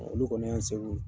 Olu kɔni y'an se